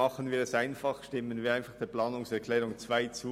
Machen wir es einfach, stimmen wir der Planungserklärung 2 zu!